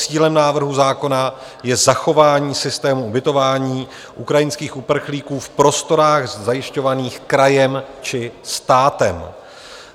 Cílem návrhu zákona je zachování systému ubytování ukrajinských uprchlíků v prostorách zajišťovaných krajem či státem.